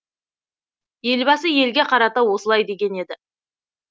елбасы елге қарата осылай деген еді